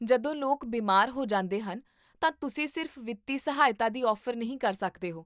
ਜਦੋਂ ਲੋਕ ਬਿਮਾਰ ਹੋ ਜਾਂਦੇ ਹਨ ਤਾਂ ਤੁਸੀਂ ਸਿਰਫ਼ ਵਿੱਤੀ ਸਹਾਇਤਾ ਦੀ ਔਫ਼ਰ ਨਹੀਂ ਕਰ ਸਕਦੇ ਹੋ